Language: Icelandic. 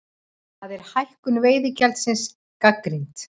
Þar er hækkun veiðigjaldsins gagnrýnd